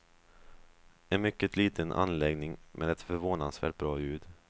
En mycket liten anläggning med ett förvånansvärt bra ljud.